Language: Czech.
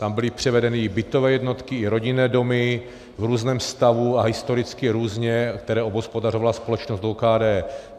Tam byly převedeny i bytové jednotky i rodinné domy v různém stavu a historicky různě, které obhospodařovala společnost OKD.